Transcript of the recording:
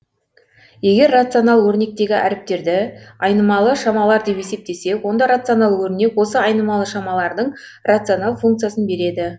егер рационал өрнектегі әріптерді айнымалы шамалар деп есептесек онда рационал өрнек осы айнымалы шамалардың рационал функциясын береді